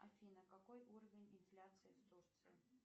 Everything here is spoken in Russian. афина какой уровень инфляции в турции